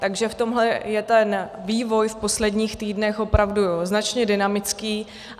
Takže v tomhle je ten vývoj v posledních týdnech opravdu značně dynamický.